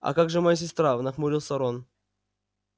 а как же моя сестра нахмурился рон